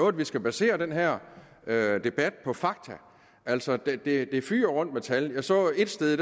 at vi skal basere den her debat på fakta altså det fyger rundt med tal jeg så ét sted